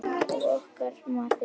Og okkar maður svífur.